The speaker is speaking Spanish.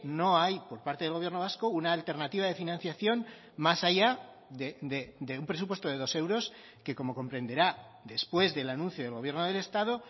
no hay por parte del gobierno vasco una alternativa de financiación más allá de un presupuesto de dos euros que como comprenderá después del anuncio del gobierno del estado